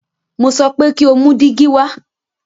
Mo so pé kí o mú dígí wa!